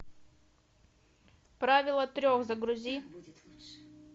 правило трех загрузи